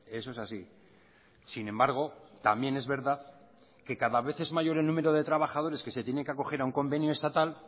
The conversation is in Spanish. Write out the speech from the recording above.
eso es así sin embargo también es verdad que cada vez es mayor el número de trabajadores que se tienen que acoger a un convenio estatal